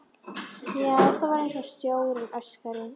Já, það var einsog sjórinn öskraði.